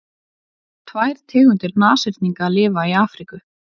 tvær tegundir nashyrninga lifa í afríku